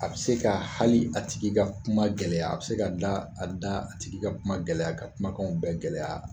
A bɛ se ka hali a tigi ka kuma gɛlɛya, a bɛ se ka dila a da a tigi ka kuma gɛlɛya ka kumakanw bɛɛ gɛlɛya.